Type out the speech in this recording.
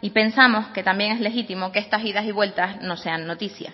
y pensamos que también es legítimo que estas idas y vueltas no sean noticia